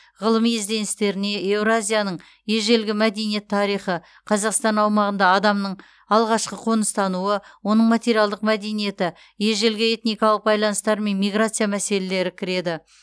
ғылыми ізденістеріне еуразияның ежелгі мәдениет тарихы қазақстан аумағында адамның алғашқы қоныстануы оның материалдық мәдениеті ежелгі этникалық байланыстар мен миграция мәселелері кіреді